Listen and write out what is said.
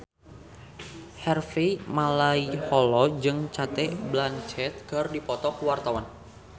Harvey Malaiholo jeung Cate Blanchett keur dipoto ku wartawan